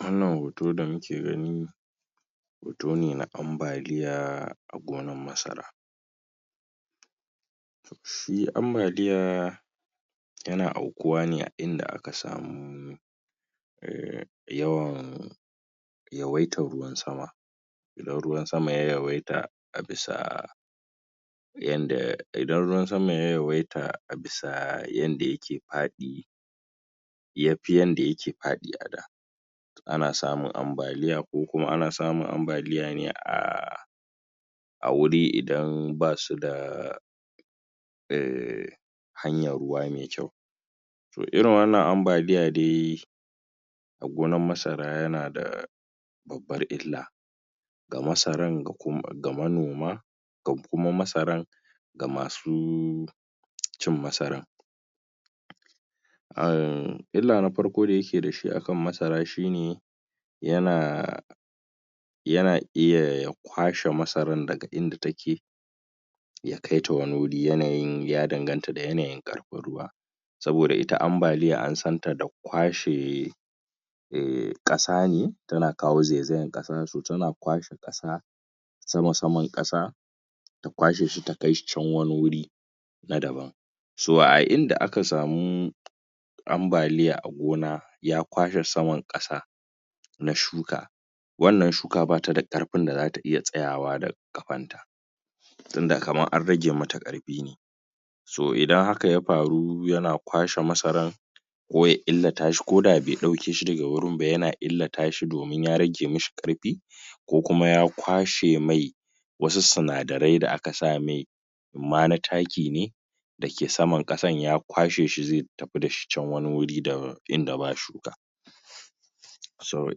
wannan hoto da muke gani hoto ne na ambaliya a gonar masara shi ambaliya yana aukuwa ne a inda aka samu yawan yawaitan ruwan sama idan ruwan sama ya yawaita a bisa yadda idan ruwan sama ya yawaita abisa yadda yake faɗi yafi yadda yake faɗi ada ana samun ambaliya ko kuma ana samun ambaliya ne a a wuri idan basu da um hanyan ruwa mai kyau to irin wannan ambaliya dai a gonar masara yana da babbar illa ga masaran gakuma manoma ga kuma masaran ga masu cin masaran aam illa na farko dayake dashi a kan masaran shine yana yana iya ya kwashe masaran daga inda take ya kaita wani wuri yanayi ya danganta da yanayin ƙarfin ruwa saboda it ambaliya ansanta da kwashe eh kasane tanakawo zaizayan kasa so tana kwashe kasa sama-saman kasa ta kwashe shi takaishi can wani guri na daban so a inda aka samu ambaliya a gona ya kwashe saman kasa na shuka wannan shuka bata da ƙarfin da zata iya tsayawa da ƙafanta tunda kamar an rage mata ƙarfi ne so idan haka yafaru yana kwashe masaran ko ya illatashi koda bai daukeshi daga wurin ba yana illatashi domin ya rage mishi ƙarfi ko kuma ya kwashemai wasu sinadarai da aka samai imma na taki ne da ke saman ƙasan ya kwashe shi zai tafi dashi can wani guri inda ba shuka so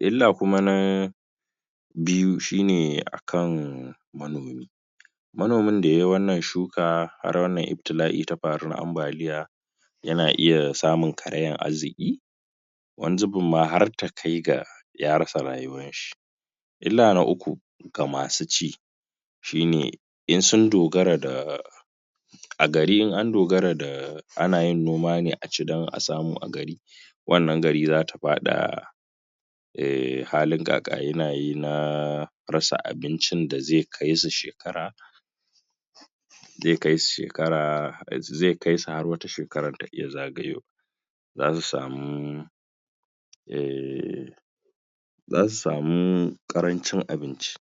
illa kuma na biyu shine akan manomi manomin da yayi wannan shuka har wannan ibtila'i tafaru na ambaliya yana iya samun karayan arziki wani zubin ma har takai ga yarasa rayuwarshi illa na uku ga masu ci shine in sun dogara da a gari in andogara da anayin noma ne aci don a samu a gari wannan gari zata fada um halin kakanikayi na rasa abincin da zai kaisu shekara zai kaisu shekara zai kaisu har wata shekaran ta iya zagayowa zasu samu um zasu samu karancin abinci